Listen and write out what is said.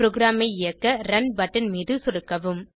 ப்ரோகிராமை இயக்க run button மீது சொடுக்கவும்